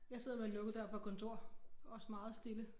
Jeg sidder med lukket dør på et kontor også meget stille